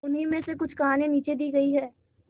उन्हीं में से कुछ कहानियां नीचे दी गई है